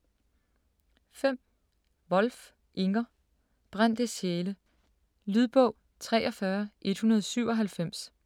5. Wolf, Inger: Brændte sjæle Lydbog 43197